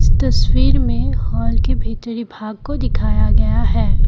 इस तस्वीर में हॉल के भीतरी भाग को दिखाया गया है।